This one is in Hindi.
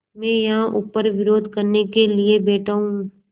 मैं यहाँ ऊपर विरोध करने के लिए बैठा हूँ